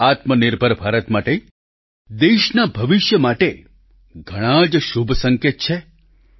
આ આત્મનિર્ભર ભારત માટે દેશના ભવિષ્ય માટે ઘણાં જ શુભ સંકેત છે